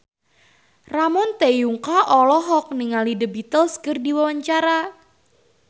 Ramon T. Yungka olohok ningali The Beatles keur diwawancara